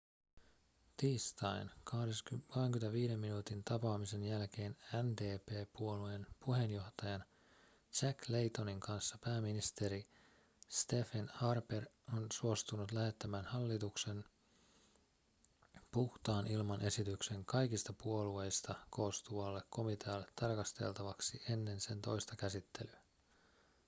tiistain 25 minuutin tapaamisen jälkeen ndp-puolueen puheenjohtajan jack laytonin kanssa pääministeri stephen harper on suostunut lähettämään hallituksen puhtaan ilman esityksen kaikista puolueista koostuvalle komitealle tarkasteltavaksi ennen sen toista käsittelyä